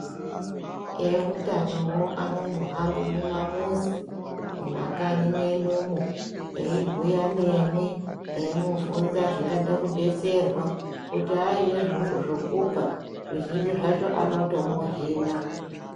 Eutanovo anombo hambe mumamuzi muma kanyi mwenyumo. Eimbuya nemwi eimuvhunza zvingada kubetserwa kuti aine zvokupa zvizhinji zvacho anotomuhina.